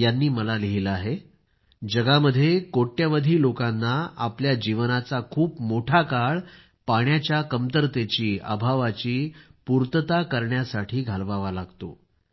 यांनी मला लिहिलं आहे की दुनियेमध्ये कोट्यवधी लोकांना आपल्या जीवनाचा खूप मोठा काळ पाण्याच्या कमतरतेचीअभावाची पूर्तता करण्यासाठीच घालवावा लागतो